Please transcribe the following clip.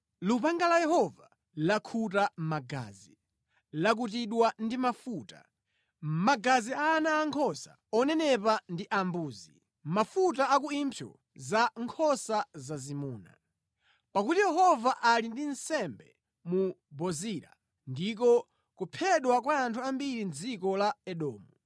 Lupanga la Yehova lakhuta magazi, lakutidwa ndi mafuta; magazi a ana ankhosa onenepa ndi ambuzi, mafuta a ku impsyo za nkhosa zazimuna. Pakuti Yehova ali ndi nsembe mu Bozira ndiko kuphedwa kwa anthu ambiri mʼdziko la Edomu.